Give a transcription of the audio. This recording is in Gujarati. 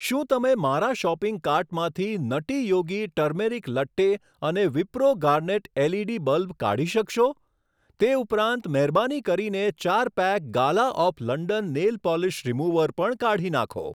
શું તમે મારા શોપિંગ કાર્ટમાંથી નટી યોગી ટર્મેરિક લટ્ટે અને વિપ્રો ગાર્નેટ એલઈડી બલ્બ કાઢી શકશો? તે ઉપરાંત મહેરબાની કરીને ચાર pack Gala of London nail polish remover પણ કાઢી નાંખો.